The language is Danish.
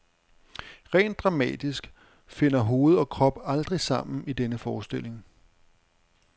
Rent dramatisk finder hoved og krop aldrig sammen i denne forestilling.